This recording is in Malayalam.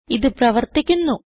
ഇത് പ്രവർത്തിക്കുന്നു